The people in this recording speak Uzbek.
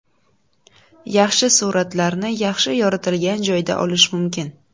Yaxshi suratlarni yaxshi yoritilgan joyda olish mumkin.